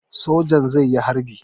Sojan zai yi harbi.